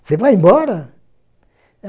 Você vai embora?